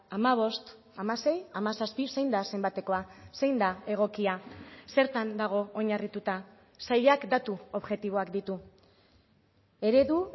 hamabost hamasei hamazazpi zein da zenbatekoa zein da egokia zertan dago oinarrituta sailak datu objektiboak ditu eredu